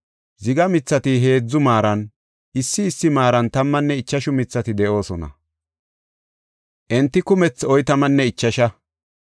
ziga mithati heedzu maaran, issi issi maaran tammanne ichashu mithati de7oosona; enti kumethi oytamanne ichasha.